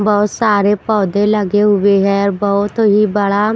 बहुत सारे पौधे लगे हुए है और बहुत ही बड़ा --